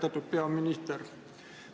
Austatud peaminister!